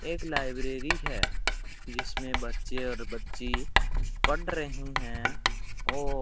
एक लाइब्रेरी है जिसमें बच्चे और बच्ची पढ़ रही हैं और --